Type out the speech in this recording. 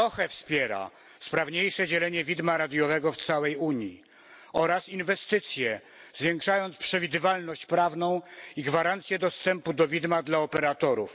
Wspiera sprawniejsze dzielenie widma radiowego w całej Unii oraz inwestycje, zwiększając przewidywalność prawną i gwarancje dostępu do widma dla operatorów.